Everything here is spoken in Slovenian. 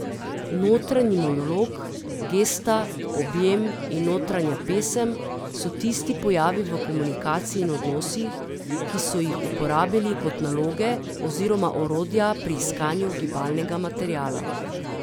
Notranji monolog, gesta, objem in notranja pesem so tisti pojavi v komunikaciji in odnosih, ki so jih uporabili kot naloge oziroma orodja pri iskanju gibalnega materiala.